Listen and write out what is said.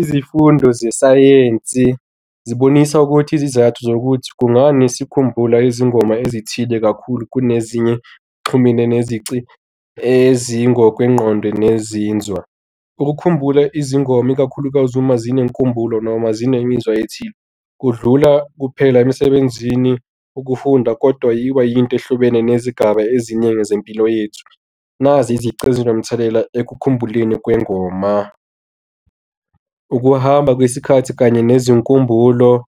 Izifundo zesayensi zibonisa ukuthi izizathu zokuthi kungani sikhumbula izingoma ezithile kakhulu kunezinye exhumene nezici ezingokwengqondo nezinzwa. Ukukhumbula izingoma ikakhulukazi uma zinenkumbulo noma zinemizwa ethile kudlula kuphela emsebenzini ukufunda kodwa yba yinto ehlobene nezigaba ezimele zempilo yethu. Nazi izici ezinomthelela ekhumbuleka kwengoma. Ukuhamba kwesikhathi kanye nezinkumbulo,